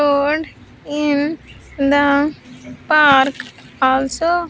Wood in the park also.